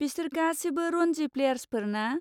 बिसोर गासिबो रनजि प्लेयारसफोर ना?